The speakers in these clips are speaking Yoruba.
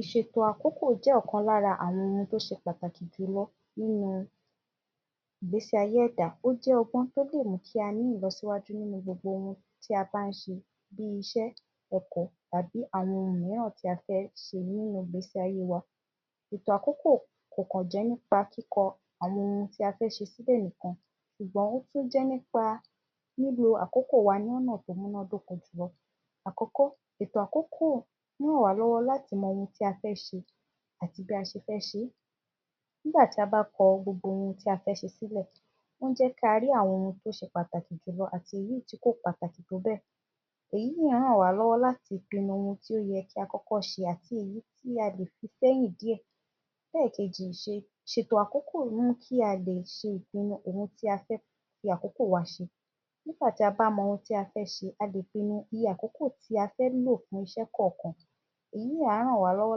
Ìṣètò àkókò jẹ́ ọ̀kan lára àwọn ohun tí ó ṣe pàtàkì jù lọ nínú ìgbésí ayé ẹ̀dá ó jẹ ọgbọ́n tí ó lé mú kí a ní ìlọsíwájú nínú gbogbo ohun tí a bá ń ṣe bí iṣẹ́, Ẹ̀kọ́ tàbí àwọn ohun mìíràn tí a bá ń ṣe nínú ìgbésí ayé wa. Ètò àkókò kò kọ̀ jẹ́ nípa kíkọ àwọn ohun tí a fẹ́ ṣe sí sílẹ̀ nìkan, ṣùgbọ́n ó jẹ nípa lílo àkókò wa lọ́nà tí ó múná dóko ṣùgbọ́n, àkọ́kọ́ ètò àkókò rán wa lọ́wọ́ láti mọ ohun tí ó fẹ́ ṣe àti bí a ṣe fẹ́ ṣe. Nígbà tí a bá kọ gbogbo ohun tí a fẹ́ ṣe sílẹ̀, ó ń jẹ ki a rí àwọn ohun tí ó ṣe pàtàkì jù lọ àti èyí tí kò pàtàkì tó bẹ́ẹ̀. Èyí á rán wa lọ́wọ́ láti pinu ohun tí ó yẹ kí a kọ́kọ́ ṣe àti èyí tí a lè fi sẹ́yìn díẹ̀. Ẹlẹ́kẹ̀jì, Ìṣètò àkókò ń mú kí a le pinu ohun tí a fẹ́ fi àkókò wa ṣe nígbà tí a bá mọ ohun tí a fẹ́ ṣe a lè pinu iye àkókò tí a fẹ́ lò lè kọ̀ọ̀kan èyí á rán wa lọ́wọ́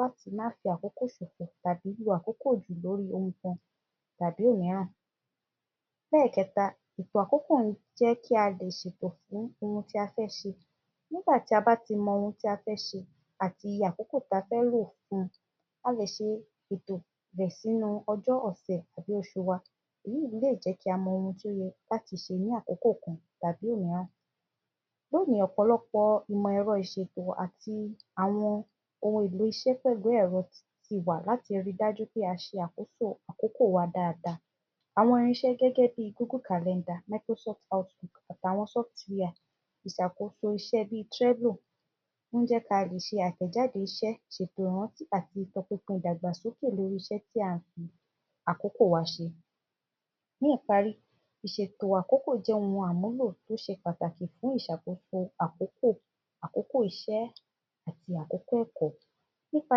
láti máa fi àkókò ṣòfò àti àkókò fi ṣe nnkan tàbí òmíràn. Ẹlẹ́kẹtà, Ìṣètò àkókò jẹ́ kí a lè ṣètò fún tí a fẹ́ ṣe, nígbà tí a bá ti mọ ohun tí a fẹ́ ṣe àti àkókò tí a fẹ́ lò fún, a lè ṣètò rẹ sínú ọjọ́ ọ̀sẹ̀, oṣù wa. Èyí lé jẹ ki á mọ ìṣe ni àkókò kan tàbí òmíràn. Bẹ́ẹ̀ ni ọ̀pọ̀lọpọ̀ àwọn ìmọ̀ ẹ̀rọ Ìṣètò àti àwọn ohun èlò iṣẹ́ ìmọ̀ ẹ̀rọ tí wà láti rí dájú pé a ṣe àkókò wa dáadáa. Àwọn irínṣẹ́ gẹ́gẹ́ bí, Google calendar, Microsoft output àti àwọn software ti ṣàkóso iṣẹ́ bí Treno ń jẹ́ kí a lè ṣe àtẹ̀jáde iṣẹ́, Ìṣètò ìrántí àti ìtọ́pinpin ìdàgbàsókè lórí iṣẹ́ tí a fi àkókò wa ṣe. Ní ìparí, Ìṣètò àkókò jẹ́ ohun àmúlò tó ṣe pàtàkì fún ìṣàkóso àkókò, àkókò iṣẹ́ àti àkókò ẹ̀kọ́, nípa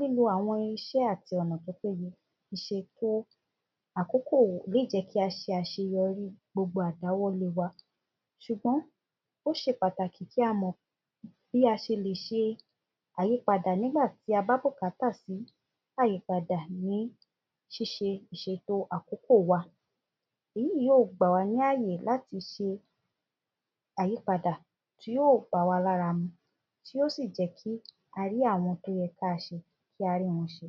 lílo àwọn irínṣẹ́ àti ọ̀nà tí ó péye, Ìṣètò àkókò lè jẹ ki a ṣe àṣeyọrí gbogbo àdáwọ́lé wà. Ṣùgbọ́n, ó ṣe pàtàkì kí a mọ bí a ṣe lè ṣe àyípadà nígbà tí a bá bùkátà sí àyípadà ni ṣíṣe Ìṣètò àkókò wa, èyí yóò gba wa ni àyè láti ṣe àyípadà tí yóò bá wà lára mu tí yóò sì jẹ ki a rí àwọn ohun tí a ṣe kí a rí wọn ṣe.